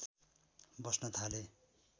बस्न थाले